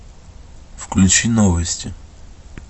включи новости